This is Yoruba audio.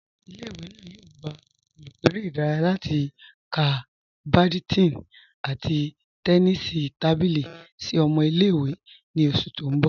Ìlẹ̀-ìwé náà yóò gbà olùkọ̀ èrè̀ idáràyà láti kọ̀ bádìntọ̀n àti tẹ́nísì tábílì sí ọmọ̀ ìlẹ̀-ìwé ní oṣù tí n bọ̀.